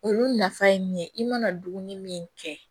Olu nafa ye min ye i mana dumuni min kɛ